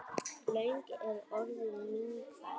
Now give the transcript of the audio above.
Löng er orðin mín ferð.